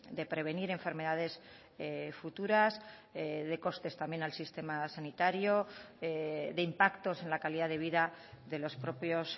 de prevenir enfermedades futuras de costes también al sistema sanitario de impactos en la calidad de vida de los propios